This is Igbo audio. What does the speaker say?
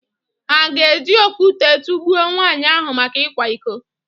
Hà ga-eji okwute tụgbuo nwaanyị ahụ maka ịkwa iko.